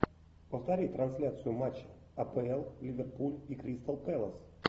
повтори трансляцию матча апл ливерпуль и кристал пэлас